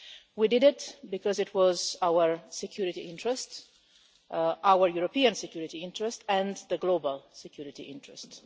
We did it because it was in our security interest our European security interest and the global security interest.